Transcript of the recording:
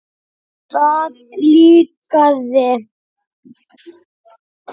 Það líkaði